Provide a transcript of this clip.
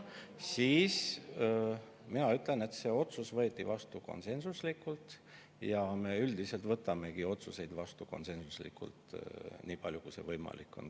Niisiis, mina ütlen, et see otsus võeti vastu konsensuslikult ja me üldiselt võtamegi komisjonis otsuseid vastu konsensuslikult, nii palju kui see võimalik on.